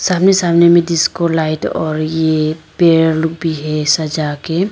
सामने सामने में डिस्को लाइट और यह पेड़ भी है सजा के--